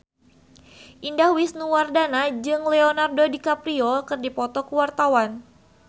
Indah Wisnuwardana jeung Leonardo DiCaprio keur dipoto ku wartawan